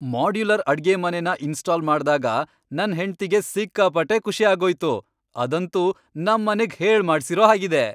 Modular ಅಡ್ಗೆಮನೆನ install ಮಾಡ್ದಾಗ ನನ್ ಹೆಂಡ್ತಿಗೆ ಸಿಕ್ಕಾಪಟ್ಟೆ ಖುಷಿ ಆಗೋಯ್ತು. ಅದಂತೂ ನಮ್ಮನೆಗ್ ಹೇಳ್ಮಾಡ್ಸಿರೋ ಹಾಗಿದೆ.